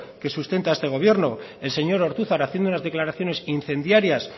que sustenta este gobierno el señor ortuzar haciendo unas declaraciones incendiarias